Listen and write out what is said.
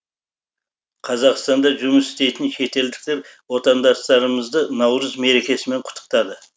қазақстанда жұмыс істейтін шетелдіктер отандастарымызды наурыз мерекесімен құттықтады